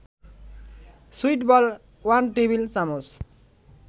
সুইটবল ১ টেবিল-চামচ